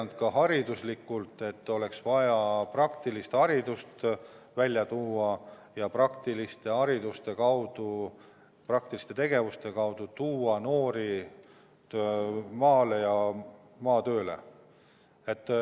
Oleme märkinud, et oleks vaja rohkem praktilist haridust, praktiliste tegevuste kaudu noori maale ja maatööle tuua.